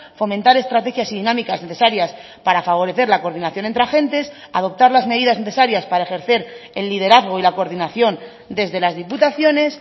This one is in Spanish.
fomentar estrategias y dinámicas necesarias para favorecer la coordinación entre agentes adoptar las medidas necesarias para ejercer el liderazgo y la coordinación desde las diputaciones